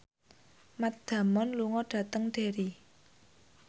Matt Damon lunga dhateng Derry